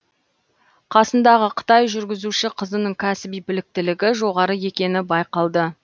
қасындағы қытай жүргізуші қызының кәсіби біліктілігі жоғары екені байқалды